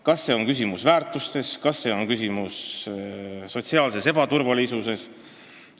Kas küsimus on väärtustes, kas küsimus on sotsiaalses ebaturvalisuses?